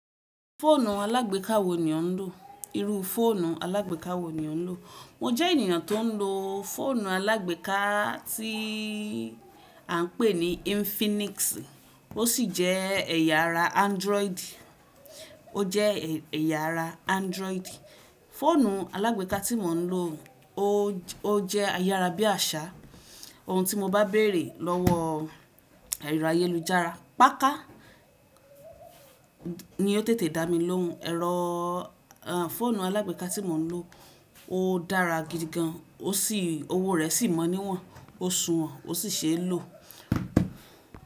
Fóònù alágbèká wo ni ò ń lò? Irú fóònù alágbèká wo ni ò ń lò? Mo jẹ́ ènìyàn tó ń lo fóònù alágbèká tí à ń pè ní Infinix ó sì jẹ́ ẹ̀yà ara Android. Ó jẹ́ ẹ̀yà ara Android. Fóònù alágbèká tí mò ń lò ó jẹ́ ayára bí àṣá. Oun tí mo bá bèrè lọ́wọ́ ẹ̀rọ ayélujára, páká ni ó tètè dá mi lóùn. Ẹ̀rọ fóònù alágbèká tí mò ń lò ó dára gidi gan, ó sì-- owó rẹ̀ sì mọ́ níwọ̀n, ó suwọ̀n ó sì ṣe lò.